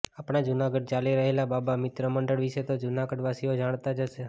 આપણાં જૂનાગઢમાં ચાલી રહેલા બાબા મિત્ર મંડળ વિશે તો જૂનાગઢવાસીઓ જાણતા જ હશે